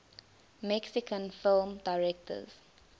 mexican film directors